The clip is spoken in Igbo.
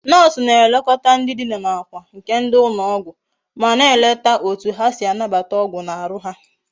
Nurse na elekota ndi Dina na akwa nke ndi ulo ogwu ma na eleta etu ha si anabata ogwu na Aru ha